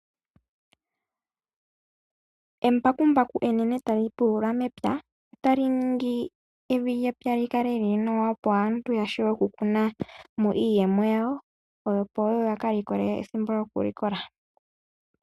Embakumbaku ohali pulula epya, opo evi lyepya lyikale lili nawa opo aantu yawape okukunamo iilikolomwa yawo, yo yekeyi likolemo.